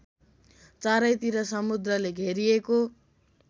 चारैतिर समुद्रले घेरिएको